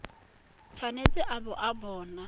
tshwanetse a bo a na